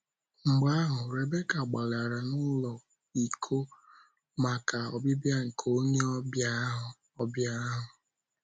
Mgbe ahụ, Rebeka gbalara n’ụlọ, ịkọ maka ọbịbịa nke onye ọbịa ahụ. ọbịa ahụ.